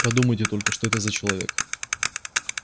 подумайте только что это за человек